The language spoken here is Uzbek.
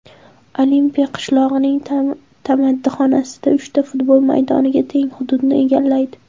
Olimpiya qishlog‘ining tamaddixonasi uchta futbol maydoniga teng hududni egallaydi.